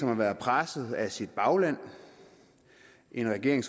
har været presset af sit bagland og en regering